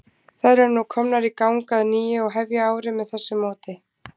Þær eru nú komnar í gang að nýju og hefja árið með þessu móti.